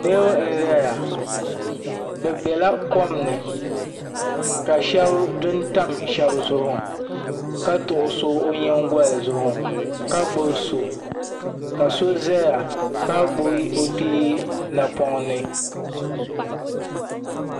Niriba n-zaya bɛ bela kom ni ka shɛba dun tam shɛba zuɣu ka tuɣi so o nyingoli zuɣu ka gbubi so ka so zaya ka gbubi o kpee napɔŋ ni